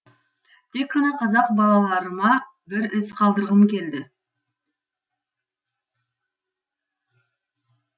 тек қана қазақ балаларыма бір із қалдырғым келді